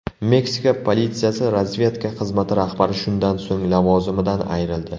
Meksika politsiyasi razvedka xizmati rahbari shundan so‘ng lavozimidan ayrildi.